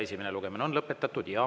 Esimene lugemine on lõpetatud.